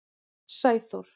Sæþór